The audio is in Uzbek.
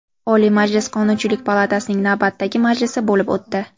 Oliy Majlis Qonunchilik palatasining navbatdagi majlisi bo‘lib o‘tdi.